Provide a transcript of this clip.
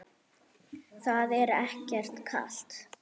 Símon: Það er ekkert kalt?